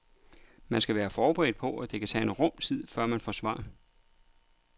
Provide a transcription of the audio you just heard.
Man skal være forberedt på, at det kan tage en rum tid før man får svar.